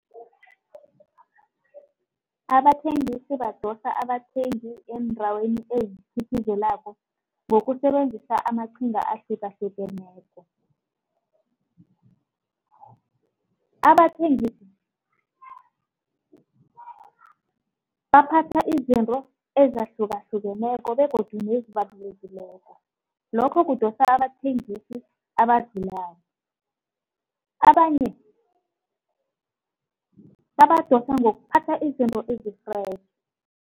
Abathengisi badosa abathengi eendaweni eziphithizelako ngokusebenzisa amaqhinga ahlukahlukeneko. Abathengisi baphatha izinto ezahlukahlukeneko begodu nezibalulekileko. Lokho kudosa abathengisi abadlulako, abanye babadosa ngokuphatha izinto